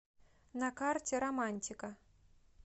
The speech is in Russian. на карте романтика